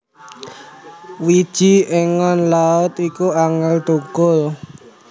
Wiji engon Laut iku angel thukul